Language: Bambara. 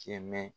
Cɛ mɛ